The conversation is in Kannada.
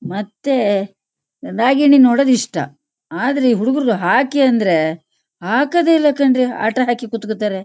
ಮತ್ತೆ ನಾಗಿಣಿ ನೋಡೋದ್ ಇಷ್ಟ. ಆದ್ರೆ ಇ ಹುಡಗ್ರಿಗೆ ಹಾಕಿ ಅಂದ್ರೆ ಹಾಕೋದೇ ಇಲ್ಲಾ ಕಣ್ರೀ ಆಟ ಹಾಕಿ ಕುತ್ಕೊತಾರೆ.